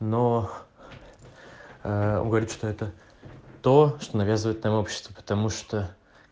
но он говорит что это то что навязывает нам общество потому что